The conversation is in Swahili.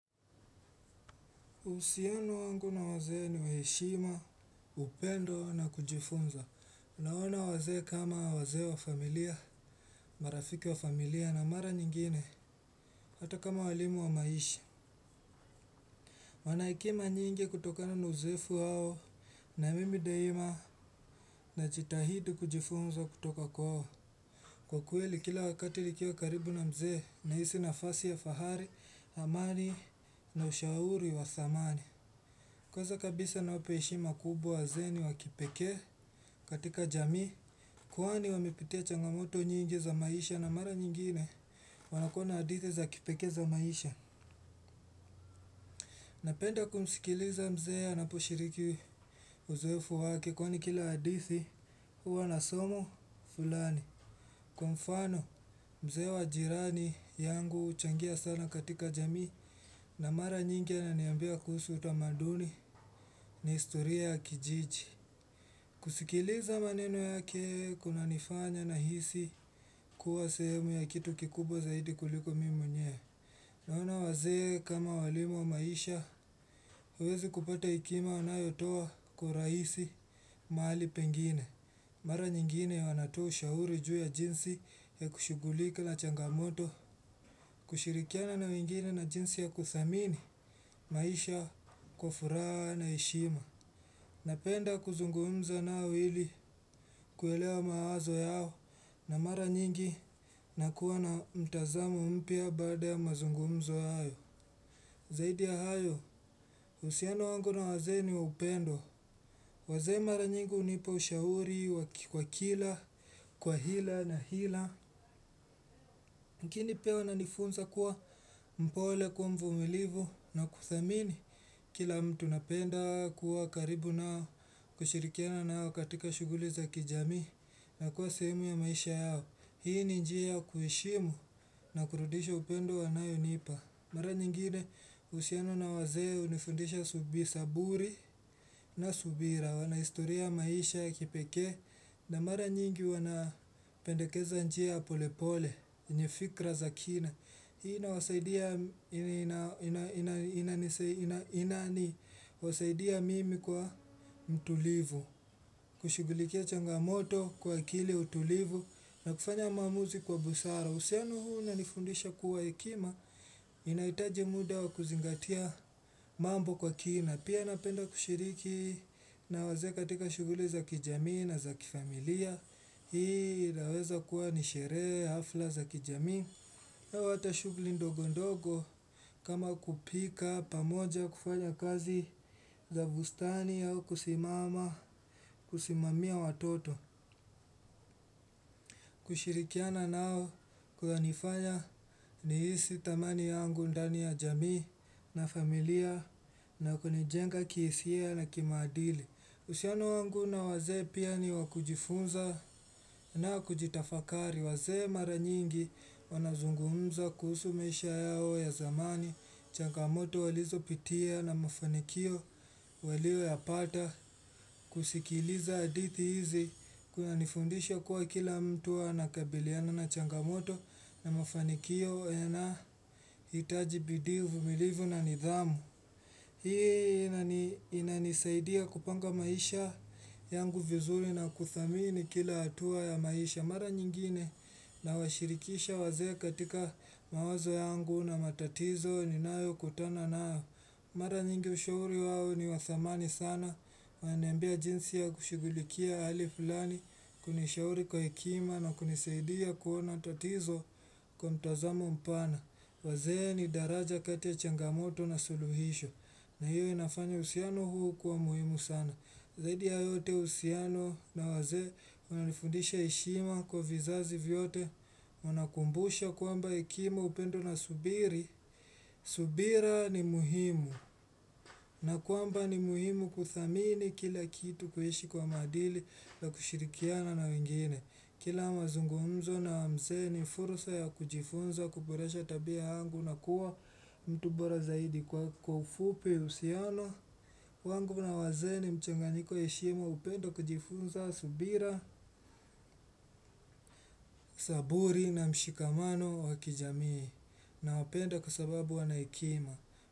Uhusiano wangu na wazee ni wa heshima, upendo na kujifunza. Unaona wazee kama wazee wa familia, marafiki wa familia na mara nyingine, hata kama walimu wa maisha. Wanahekima nyingi kutokana na uzoefu wao na mimi daima na jitahidi kujifunza kutoka kwao. Kwa kweli kila wakati nikiwa karibu na mzee nahisi nafasi ya fahari, amani na ushauri wa dhamani. Kwaza kabisa nawape heshima kubwa wazee ni wa kipekee katika jamii. Kwani wamepitia changamoto nyingi za maisha na mara nyingine wanakuwa na hadithi za kipekee za maisha. Napenda kumsikiliza mzee anapo shiriki uzoefu wake kwani kila hadithi huwa nasomo fulani. Kwa mfano mzee wa jirani yangu uchangia sana katika jamii na mara nyingi ananiambia kuhusu utamaduni na istoriaya kijiji. Kusikiliza maneno yake kuna nifanya na hisi kuwa sehemu ya kitu kikubwa zaidi kuliko mimwenyewe. Naona wazee kama walimu wa maisha uwezi kupata hekima wanayotoa kwa rahisi mahali pengine. Mara nyingine wanatua ushauri juu ya jinsi ya kushugulika na changamoto. Kushirikiana na wengine na jinsi ya kuthamini maisha kwa furaha na heshima. Napenda kuzungumza nao ili kuelewa mawazo yao na mara nyingi na kuwa na mtazamo mpya bada ya mazungumzo hayo. Zaidi ya hayo, uhusiano wangu na wazee ni wa upendo. Wazee mara nyingi hunipa ushauri kwa kila, kwa hila na hila. Kini pia wana nifunza kuwa mpole kuwa mvumilivu na kudhamini. Kila mtu napenda kuwa karibu nao kushirikiana nao katika shuguli za kijamii. Na kuwa sehemu ya maisha yao. Hii ni njia ya kuheshimu na kurudisha upendo wanayo nipa. Mara nyingine uhusiano na wazee hunifundisha subi saburi na subira. Wanahistoria maisha ya kipekee. Na mara nyingi wanapendekeza njia polepole. Nye fikra za kina. Hii inawasaidia na wasaidia mimi kuwa mtulivu. Kushugulikia changamoto kwa akili utulivu na kufanya maamuzi kwa busara. Uhusiano huu una nifundisha kuwa hekima inaitaji muda wa kuzingatia mambo kwa kina. Pia napenda kushiriki na wazee katika shuguli za kijamii na za kifamilia. Hii inaweza kuwa nisherehe hafla za kijamii au hata shughuli ndogo ndogo. Kama kupika pamoja kufanya kazi za bustani au kusimama, kusimamia watoto. Kushirikiana nao kuna nifanya nihisi tamani yangu ndani ya jamii na familia na kunijenga kihisia na kimaadili. Uhusiano wangu na wazee pia ni wakujifunza na kujitafakari. Wazee mara nyingi wanazungumza kuhusu maisha yao ya zamani. Changamoto walizo pitia na mafanikio walio ya pata kusikiliza hadithi hizi. Kuna nifundisha kuwa kila mtu anakabiliana na changamoto na mafanikio yana hitaji bidii uvumilivu na nidhamu. Hii inanisaidia kupanga maisha yangu vizuri na kuthamini kila hatua ya maisha. Mara nyingine na washirikisha wazee katika mawazo yangu na matatizo ninayo kutana nayo. Mara nyingi ushauri wao ni wathamani sana. Wananiambia jinsi ya kushugulikia hali fulani kunishauri kwa hekima na kunisaidia kuona tatizo kwa mtazamo mpana. Wazee ni daraja kati ya changamoto na suluhisho. Na hiyo inafanya uhusiano huu kuwa muhimu sana. Zaidi ya yote uhusiano na wazee una nifundisha heshima kwa vizazi vyote wana kumbusha kwamba hekima upendo na subiri. Subira ni muhimu na kwamba ni muhimu kuthamini kila kitu kuishi kwa maadili na kushirikiana na wengine. Kila mazungumzo na mzee ni furusa ya kujifunza kuboresha tabia yangu na kuwa mtu bora zaidi kwa kwa ufupi uhusiano. Wangu na wazee ni mchanganyiko ya heshima upendo kujifunza subira, saburi na mshikamano wa kijamii. Na wapenda kwa sababu wanahekima.